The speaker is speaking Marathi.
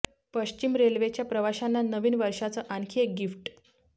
पश्चिम रेल्वेच्या प्रवाशांना नवीन वर्षाचं आणखी एक गिफ्ट